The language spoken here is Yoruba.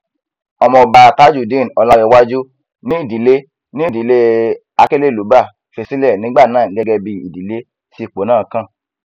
ọmọọba tajudeen ọlàǹrẹwájú ni ìdílé ni ìdílé akelelúbá fi sílẹ nígbà náà gẹgẹ bíi ìdílé tí ipò náà kàn